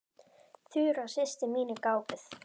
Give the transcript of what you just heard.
Þura systir mín er gáfuð.